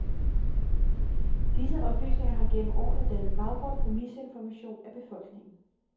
Disse oplysninger har gennem årene dannet baggrund for misinformation af befolkningen.